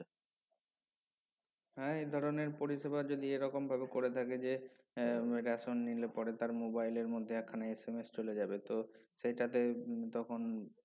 হা এই ধরনের পরিসেবা যদি এরকমভাবে করে থাকে যে এর ration নিলে পরে তার mobile এর মধ্যে একখানা SMS চলে যাবে তো সেইটাতে উম তখন